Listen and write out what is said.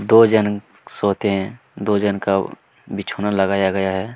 दो झन सोते है दो झन का बीछ्वना लगाया गया है।